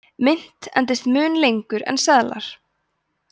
mynt endist mun lengur en seðlar